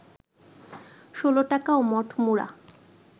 ষোলটাকা ও মটমুড়া